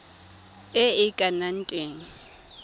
e e ka nnang teng